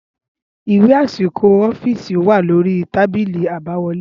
ìwé àsìkò ọ́fìsì o wà lórí tábìlì àbáwọlé